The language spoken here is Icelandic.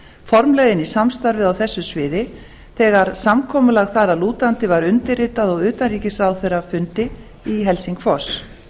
formlega inn í samstarfið á þessu sviði þegar samkomulag þar að lútandi var undirritað á utanríkisráðherrafundi í helsingfors